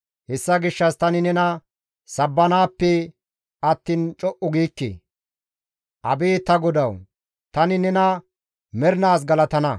Hessa gishshas tani nena sabbanaappe attiin co7u giikke. Abeet ta GODAWU! Tani nena mernaas galatana.